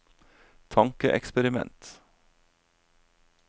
tankeeksperiment